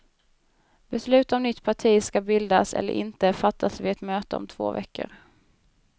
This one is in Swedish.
Beslut om nytt parti skall bildas eller inte fattas vid ett möte om två veckor.